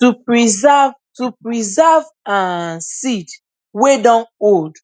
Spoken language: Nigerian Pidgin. to preserve to preserve um seed wey dun old